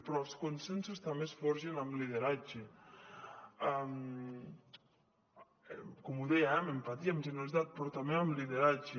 però els consensos també es forgen amb lideratge com deia eh amb empatia amb generositat però també amb lideratge